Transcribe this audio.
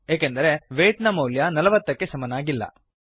ಏಕೆಂದರೆ ವೇಯ್ಟ್ ನ ಮೌಲ್ಯ ೪೦ ಕ್ಕೆ ಸಮನಾಗಿಲ್ಲ